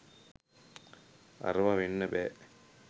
අරව වෙන්න බෑ